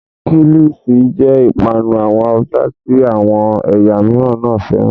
Kílìṣi jẹ́ ìpanu àwọn Haúsá tí àwọn ẹ̀yà mìíràn náà fẹ́ràn.